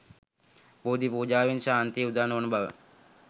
බෝධි පූජාවෙන් ශාන්තිය උදා නොවන බව